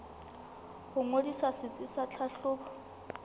ho ngodisa setsi sa tlhahlobo